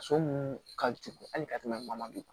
So munnu ka cun hali ka tɛmɛ mali kan